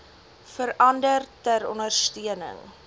verander ter ondersteuning